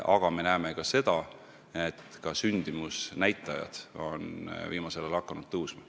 Ning me näeme ka seda, et sündimusnäitajadki on viimasel ajal hakanud tõusma.